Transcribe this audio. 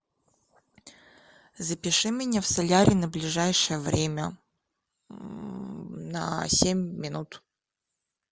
запиши меня в солярий на ближайшее время на семь минут